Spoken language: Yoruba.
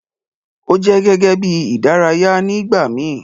O jẹ gẹ́gẹ́ bí ìdárayá ni ìgbàmi